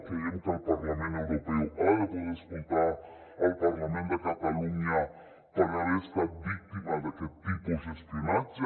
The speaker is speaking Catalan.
creiem que el parlament europeu ha de poder escoltar el parlament de catalunya per haver estat víctima d’aquest tipus d’espionatge